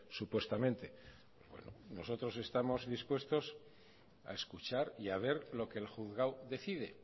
supuestamente nosotros estamos dispuestos a escuchar y a ver lo que el juzgado decide